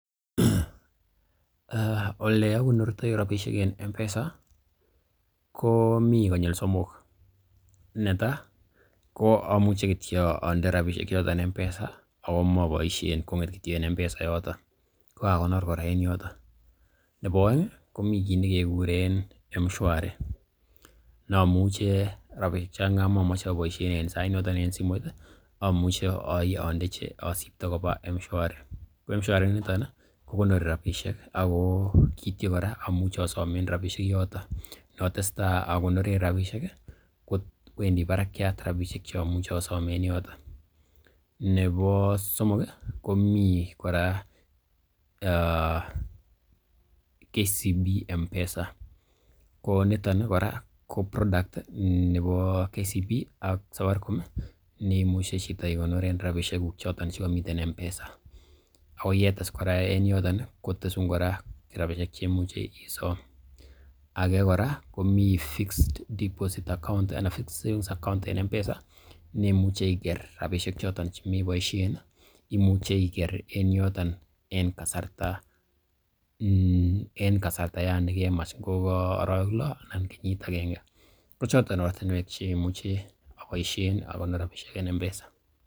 Ole agonortoi rabishek en M-Pesa ko mi konyil somok, netai amuche kityo onde rabishek choton M-Pesa ago moboisien kong'et kityo en M-Pesa yoton ko kaakonor kora en yoton. Nebo oeng ko mi kiit ne kekuren M-Shwari, amuche rabishek chon kamamoche aboisien en sait noton en simoit i, amuche asibto koba M-Shwari. Ko M-Shawri inito ko konori rabishek ak kityo kkora amuch easomen rabishek yoton. Atesetai akonoren rabishek i, kowendi barakyat rabishek che amuche asom en yoton. Nebo somok komi kora , KCB M-Pesa ko niton kora ko product nebo KCB ak Safaricom, neimuche chito ikoneren rabishek che koto M-Pesa, ago yetes kora en yooton kotesun kora rabishek che imuche isom. Age kora komi fixed deposit account anan fixed savings account en M-Pesa neimuche iger rabishek choton chemeboisien, imuche iker en yoton en kasarta nekemach, ngo ko arawek lo anan kenyit age. Ko choton ortinwek che mauche agonoren rabishek en M-Pesa.